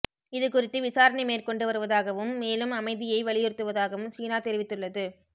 இதுகுறித்து விசாரணை மேற்கொண்டு வருவதாகவும் மேலும் அமைதியை வலியுறுத்துவதாகவும் சீனா தெரிவித்துள்ளது